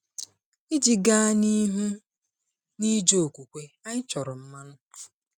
Iji gaa n’ihu n’ịje n’okwukwe, anyị chọrọ mmanụ.